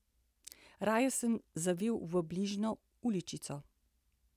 Raje sem zavil v bližnjo uličico.